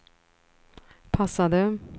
passade